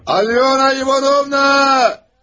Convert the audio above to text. Alyona İvanovna!